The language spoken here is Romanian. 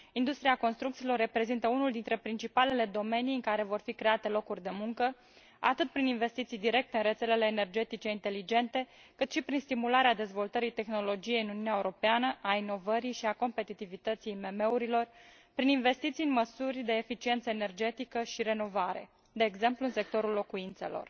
Industria construcțiilor reprezintă unul dintre principalele domenii în care vor fi create locuri de muncă atât prin investiții directe în rețelele energetice inteligente, cât și prin stimularea dezvoltării tehnologiei în Uniunea Europeană, a inovării și a competitivității IMM urilor, prin investiții în măsuri de eficiență energetică și renovare, de exemplu, în sectorul locuințelor.